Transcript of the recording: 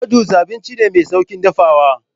Noodles abinci ne mai sauƙin dafawa.